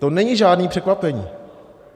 To není žádné překvapení.